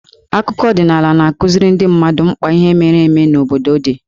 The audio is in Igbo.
Akụkọ ọdịnaala na-akụziri ndị mmadụ mkpa ihe mere eme n'obodo dị.